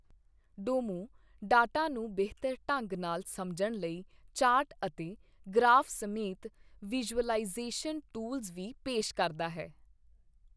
Domo data ਨੂੰ ਬਿਹਤਰ ਢੰਗ ਨਾਲ ਸਮਝਣ ਲਈ ਚਾਰਟ ਅਤੇ ਗਰਾਫ਼ ਸਮੇਤ ਵਿਜ਼ੂਅਲਾਈਜ਼ੇਸ਼ਨ ਟੂਲਜ਼ ਵੀ ਪੇਸ਼ ਕਰਦਾ ਹੈ।